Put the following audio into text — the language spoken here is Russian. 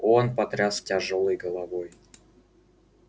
он потряс тяжёлой головой